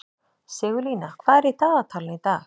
Sigurlína, hvað er í dagatalinu í dag?